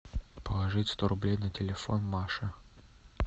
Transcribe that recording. положить сто рублей на телефон маше